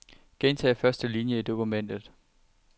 Gentag første linie i dokumentet.